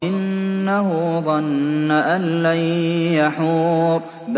إِنَّهُ ظَنَّ أَن لَّن يَحُورَ